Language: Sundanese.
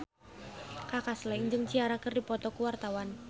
Kaka Slank jeung Ciara keur dipoto ku wartawan